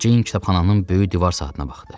Ceyn kitabxananın böyük divar saatına baxdı.